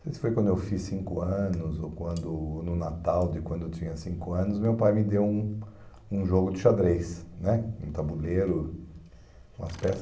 Não sei se foi quando eu fiz cinco anos ou quando ou no Natal de quando eu tinha cinco anos, meu pai me deu um um jogo de xadrez né, um tabuleiro, umas peças.